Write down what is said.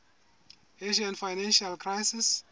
asian financial crisis